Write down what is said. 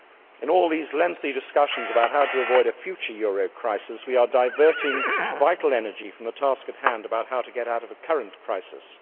In all these lengthy discussions about how to avoid a future euro crisis, we are diverting vital energy from the task at hand about how to get out of a current crisis.